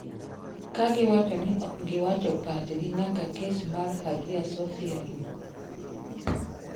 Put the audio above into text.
Kagiwacho ni ok giwacho pachgi nyaka kes mar Hagia Sophia rum.